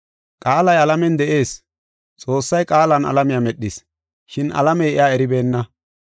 Qaalay alamen de7is. Xoossay Qaalan alamiya medhis, shin alamey iya eribeenna.